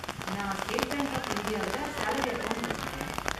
நான் State Bank of இந்தியாவுல salary account வெச்சிருக்கேன்.